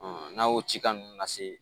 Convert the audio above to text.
n'a y'o ci ka nunnu lase